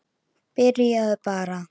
Byrjaðu bara.